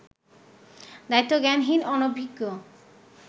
দায়িত্বজ্ঞানহীন, অনভিজ্ঞ